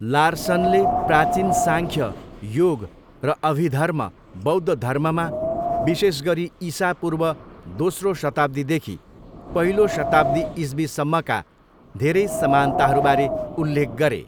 लार्सनले प्राचीन साङ्ख्य, योग र अभिधर्म बौद्ध धर्ममा विशेष गरी ईसापूर्व दोस्रो शताब्दीदेखि पहिलो शताब्दी ईस्वीसम्मका धेरै समानताहरूबारे उल्लेख गरे।